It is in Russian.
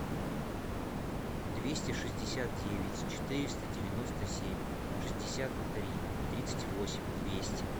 двести шестьдесят девять четыреста девяносто семь шестьдесят три тридцать восемь двести